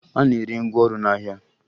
A na-ere ngwaọrụ n'ahịa